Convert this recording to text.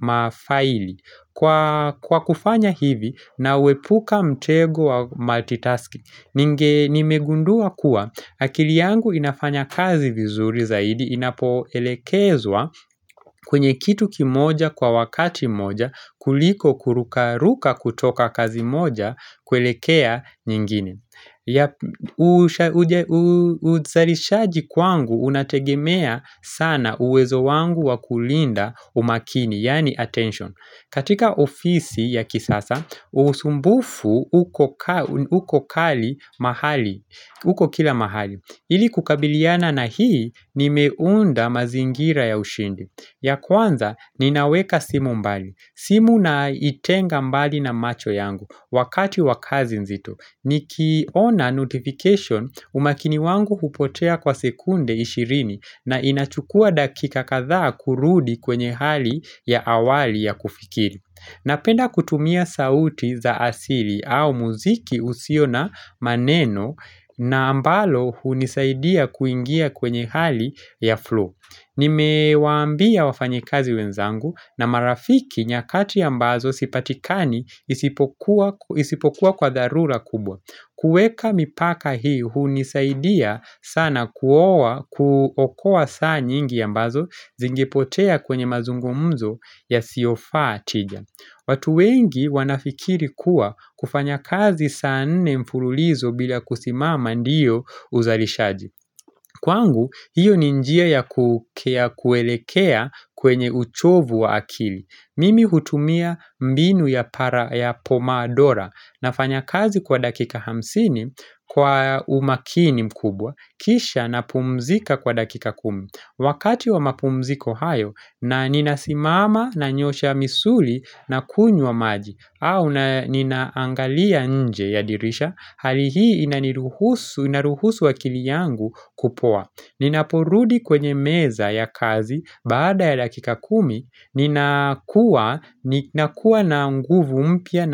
mafaili Kwa kufanya hivi nauepuka mtego wa multitasking Nimegundua kuwa akili yangu inafanya kazi vizuri zaidi Inapo elekezwa kwenye kitu kimoja kwa wakati moja kuliko kurukaruka kutoka kazi moja kuelekea nyingine Uzarishaji kwangu unategemea sana uwezo wangu wa kulinda umakini yani attention katika ofisi ya kisasa, usumbufu uko kali mahali, uko kila mahali Ili kukabiliana na hii nimeunda mazingira ya ushindi ya kwanza, ninaweka simu mbali simu naitenga mbali na macho yangu Wakati wakazi nzito ni kiona notification umakini wangu hupotea kwa sekunde ishirini na inachukua dakika kadhaa kurudi kwenye hali ya awali ya kufikiri Napenda kutumia sauti za asili au muziki usio na maneno na ambalo hunisaidia kuingia kwenye hali ya flow Nime wambia wafanyekazi wenzangu na marafiki nyakati ambazo sipatikani isipokuwa kwa dharura kubwa kueka mipaka hii, hunisaidia sana kuokoa saa nyingi ambazo zingipotea kwenye mazungumzo yasiyofa tija. Watu wengi wanafikiri kuwa kufanya kazi saa nne mfululizo bila kusimama ndiyo uzalishaji. Kwangu, hiyo ni njia ya kukea kuelekea kwenye uchovu wa akili. Mimi hutumia mbinu ya para ya pomadora nafanya kazi kwa dakika hamsini kwa umakini mkubwa kisha na pumzika kwa dakika kumi Wakati wa mapumziko hayo na ninasimama nanyoosha misuli na kunywa maji au ninaangalia nje ya dirisha hali hii inaniruhusu inaruhusu akili yangu kupoa Ninaporudi kwenye meza ya kazi baada ya dakika kumi Ninakuwa na nguvu mpya na.